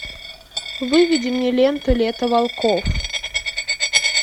выведи мне ленту лето волков